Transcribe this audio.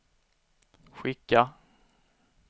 skicka